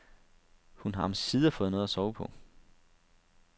Hun har omsider fået noget at sove på.